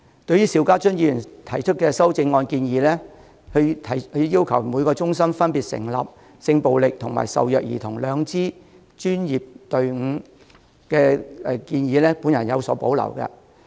對於邵家臻議員提出的修正案建議，即要求每個中心分別成立針對性暴力和受虐兒童的兩支專業隊伍的建議，我有所保留。